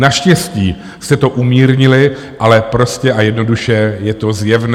Naštěstí jste to umírnili, ale prostě a jednoduše je to zjevné.